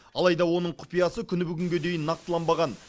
алайда оның құпиясы күні бүгінге дейін нақтыланбаған